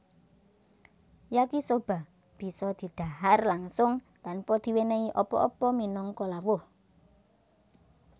Yakisoba bisa didhahar langsung tanpa diwenehi apa apa minangka lawuh